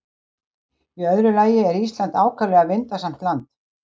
Í öðru lagi er Ísland ákaflega vindasamt land.